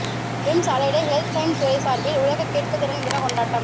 whims allied health science துறை சார்பில் உலக கேட்பு திறன் தின கொண்டாட்டம்